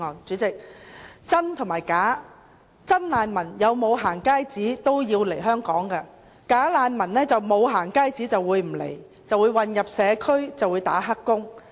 主席，真難民無論是否可以獲發"行街紙"，也會來香港；"假難民"若不獲發"行街紙"，便不會來港，混入社區當"黑工"。